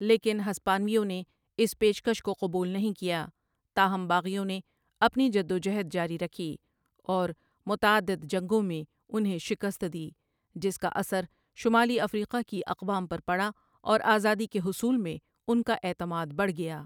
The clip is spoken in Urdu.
لیکن ہسپانویوں نے اس پیش کش کو قبول نہیں کیا تاہم باغیوں نے اپنی جدوجہد جاری رکھی اور متعدد جنگوں میں انہیں شکست دی جس کا اثر شمالی افریقہ کی اقوام پر پڑا اور آزادی کے حصول میں ان کا اعتماد بڑھ گیا